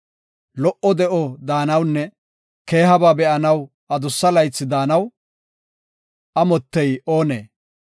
Lo77o de7o daanawunne keehaba be7anaw adussa laythi daanaw, amottey oonee?